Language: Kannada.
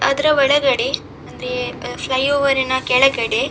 ಅದ್ರ ಒಳಗಡೆ ಅಂದ್ರೆ ಆ ಫ್ಲೈ ಓವೆರಿನ ಕೆಳಗಡೆ --